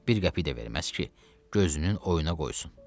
Bir qəpik də verməz ki, gözünün oyuna qoysun.